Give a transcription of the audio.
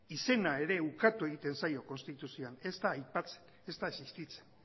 izena ere ukatu egiten zaio konstituzioan ez da aipatzen ez da existitzen